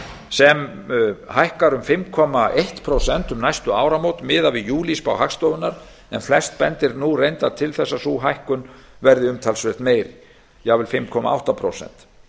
sem hækkar um fimm komma eitt prósent um næstu áramót miðað við júlíspá hagstofunnar en flest bendir nú reyndar til þess að sú hækkun verði talsvert meiri jafnvel fimm komma átta prósent